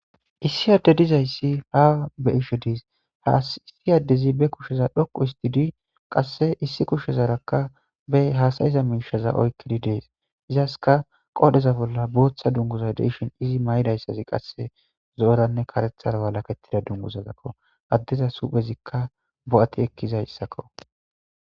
Issi adde dizayssi ha be ishe diis aissi addezi be kusheza dhoqu isti di qasse issi kushezarakka bey haasayiza miishaza oykkidi dees izaska qoodheza bolla booththa dunguza deishin izi mayidayssazi qasse zooranne karethara walakettida dungusazakko addeza suphezikka bo7ati ekkizayssakko.